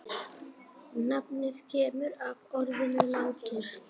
Nafnið kemur af orðinu látur.